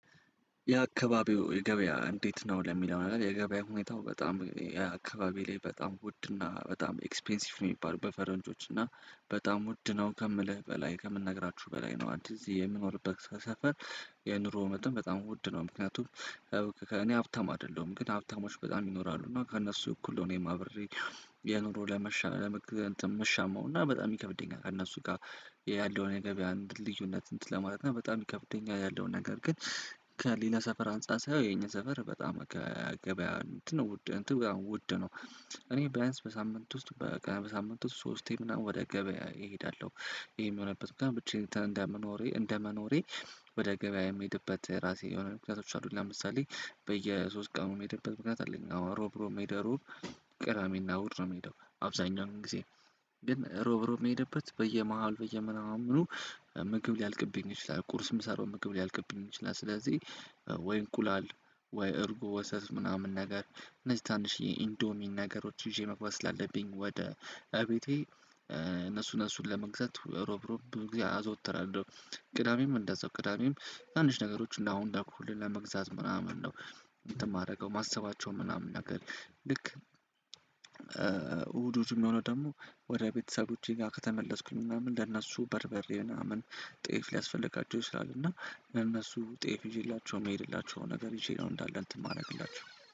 የአካባቢው የገበያ እንዴት ነው ለሚለው ነው የገበያ ሁኔታው በጣም የአካባቢው ላይ በጣም ውድና በጣም ኤክስፔንሲቭ ነው የሚባሉ በፈረንጆች እና በጣም ውድ ነው ከምልህ በላይ ከምነግራችሁ በላይ ነው አንድ እዚህ የምኖርበት ሰፈር የኑሮ መጠን በጣም ውድ ነው። ምክንያቱም ከእኔ ሀብታም አይደለሁም ግን ሀብታሞች በጣም ይኖራሉ እና ከእነሱ እኩል ነው እኔም አብሬ የኑሮ ለመሻል እና በጣም ይከብደኛል። ጋር ያለውን የገበያ አንድ ልዩነት እንትን ለማለት ነው በጣም ይከብደኛል ያለውን ነገር ግን ከሌላ ሰፈር አንፃር ሳየው የኛ ሰፈር በጣም ከገበያ እንትን ነው ውድ ነው። እኔ ቢያንስ በሳምንት ውስጥ በቃ በሳምንት ውስጥ ሶስቴ ምናምን ወደ ገበያ እሄዳለሁ። ይሄ የሚሆንበት በቃ ብቻዬ እንደመኖሬ እንደመኖሬ ወደ ገበያ የምሄድበት ራሴ የሆነ ምክንያቶች አሉኝ ለምሳሌ በየሶስት ቀኑ የምሄድበት ምክንያት አለኝ። እሮብ እሮብ ሜሄድ እሮብ ቅራሜና እሁድ ነው። የምሄደው አብዛኛው ጊዜ ግን እሮብ እሮብ የምሄደበት በየመሃል በየምናምኑ ምግብ ሊያልቅብኝ ይችላል ቁርስም ሰራው ምግብ ሊያልቅብኝ ይችላል። ስለዚህ ወይ እንቁላል ወይ እርጉ ወተት ምናምን ነገር እነዚህ ትናንሽዬ ኢንዶሚን ነገሮች ይዤ መግባት ስላለብኝ ወደ እቤቴ እነሱን እነሱን ለመግዛት እሮብ እሮብ ብዙ ጊዜ አዘወትራለሁ። ቅዳሜም እንደዛው ቅዳሜም ትናንሽ ነገሮች እንደ አሁን ደግሞ ለመግዛት ምናምን ነው። እንትን የማደርገው ማሰባቸውን ምናምን ነገር ልክ እሁዱ የሚሆነው ደግሞ ወደ ቤተሰቦቼ ጋር ከተመለስኩኝ ምናምን ለነሱ በርበሬ ምናምን ጤፍ ሊያስፈልጋቸው ይችላል። እና ለነሱ ጤፍ ይዤላቸው የምሄድላቸው ነገር ይዤ ነው እንዳለ እንትን የማደርግላችሁ